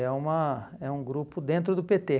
É uma é um grupo dentro do pê tê.